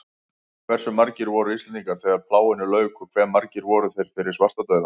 Hversu margir voru Íslendingar þegar plágunni lauk og hve margir voru þeir fyrir svartadauða?